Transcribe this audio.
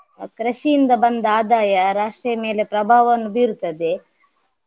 ಕೃಷಿಯಿಂದ ಬಂದ ಆದಾಯ ರಾಷ್ಟ್ರೀಯ ಮೇಲೆ ಪ್ರಭಾವವನ್ನು ಬೀರುತ್ತದೆ.